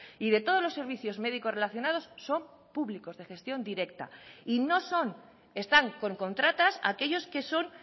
y de todos los servicios médicos relacionados son públicos de gestión directa y no son están con contratas aquellos que son